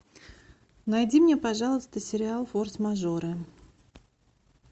найди мне пожалуйста сериал форс мажоры